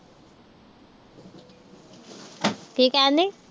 ਕੀ ਕਹਿਣ ਡਈ।